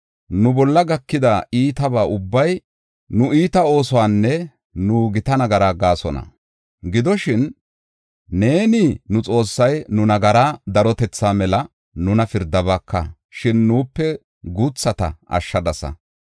“Nu bolla gakida iitaba ubbay nu iita oosuwanne nu gita nagara gaasona. Gidoshin, neeni nu Xoossay nu nagara darotethaa mela nuna pirdabaaka; shin nuupe guuthata ashshadasa.